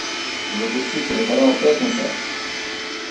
запусти телеканал пятница